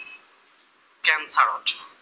টেনচাৰত